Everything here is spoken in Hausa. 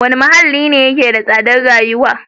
Wane muhalli ne yake da tsadar rayuwa?